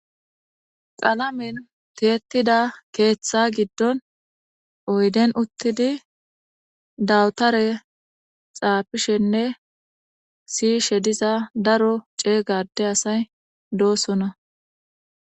qalamen tietida keeththa giddon oyden uttidi dawutare xaafishenne siyishe diza daro ceegade asay doosona